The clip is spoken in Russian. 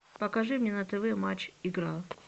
покажи мне на тв матч игра